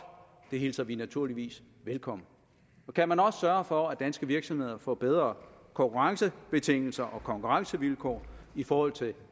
og det hilser vi naturligvis velkommen kan man også sørge for at danske virksomheder får bedre konkurrencebetingelser og konkurrencevilkår i forhold til